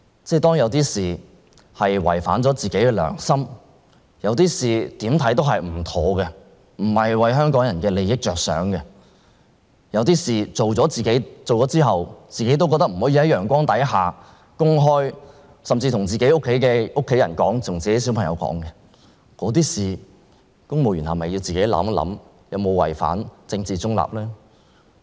如果有些事情，做了會違反自己的良心，有些事情怎樣看也不妥當，不是為香港人的利益着想，有些事情做了之後，自己也會認為不能在陽光下公開，甚至不能告訴家人和小孩，那麼，公務員是否應該自行想一想，做那些事情有否違反政治中立原則呢？